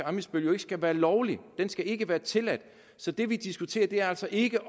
ammitzbøll jo ikke skal være lovlig den skal ikke være tilladt så det vi diskuterer er altså ikke